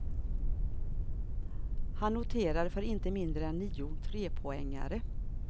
Han noterades för inte mindre än nio trepoängare.